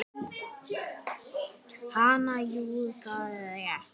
Hansa: Jú, það er rétt.